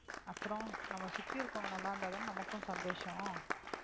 அப்புறம் நம்ம சுத்தி இருக்கிறவங்க நல்லா இருந்தாதானே நமக்கும் சந்தோஷம்